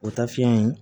O taa fiyɛn in